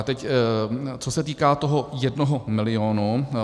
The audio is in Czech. A teď co se týká toho jednoho milionu.